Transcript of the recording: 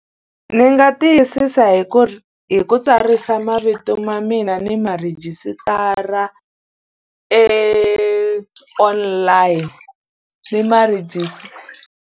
Ndzi nga tiyisisa hi ku hi ku tsarisa mavito ma mina ni ma rhejisitara e online, ni ma .